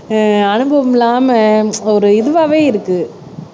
ஆஹ் அனுபவம் இல்லாம ஒரு இதுவாவே இருக்கு